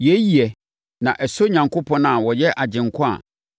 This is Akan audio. Yei yɛ, na ɛsɔ Onyankopɔn a ɔyɛ Agyenkwa a